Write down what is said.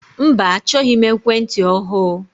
Mba achọghị m ekwentị ọhụụ.